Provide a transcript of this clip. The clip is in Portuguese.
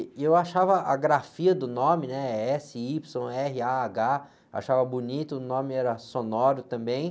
E eu achava a grafia do nome, né? Ésse, ípsilo, érre, á, agá, achava bonito, o nome era sonoro também.